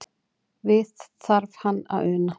Við þarf hann að una.